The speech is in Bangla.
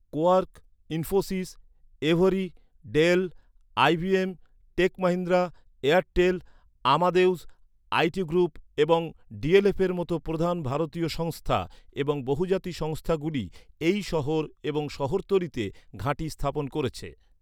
Quark, Infosys, Avery, Dell, IBM, tech Mahindra, Airtel, Amadeus IT group এবং ডিএলএফের মতো প্রধান ভারতীয় সংস্থা এবং বহুজাতিক সংস্থাগুলি এই শহর এবং শহরতলিতে ঘাঁটি স্থাপন করেছে।